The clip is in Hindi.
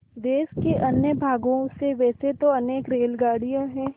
देश के अन्य भागों से वैसे तो अनेक रेलगाड़ियाँ हैं